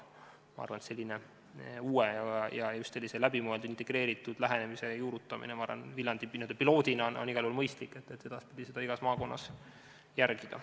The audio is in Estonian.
Ma arvan, et sellise uue ja läbimõeldud integreeritud lähenemise juurutamine Viljandis n-ö piloodina on igal juhul mõistlik, et edaspidi saaks seda igas maakonnas järgida.